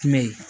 Mɛ